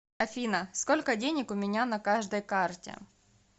афина сколько денег у меня на каждой карте